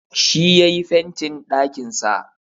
Shi yayi fentin ɗakin sa